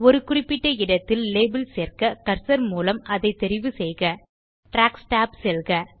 ஒரு குறிப்பிட்ட இடத்தில் லேபல் சேர்க்க கர்சர் மூலம் அதைத் தெரிவு செய்க ட்ராக்ஸ் tab செல்க